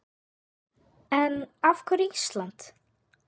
En af hverju Ísland?